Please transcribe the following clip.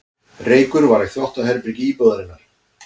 Reykur var í þvottaherbergi íbúðarinnar